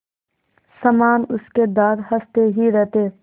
समान उसके दाँत हँसते ही रहते